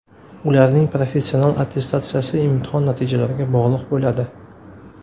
Ularning professional attestatsiyasi imtihon natijalariga bog‘liq bo‘ladi.